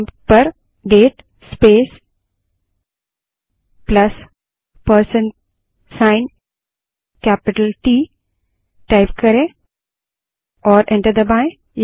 prompt पर date space plus percent sign capital T type करें और एंटर दबायें